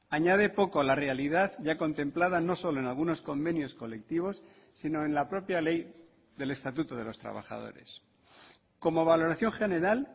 añade poco a la realidad ya contemplada no solo en algunos convenios colectivos sino en la propia ley del estatuto de los trabajadores como valoración general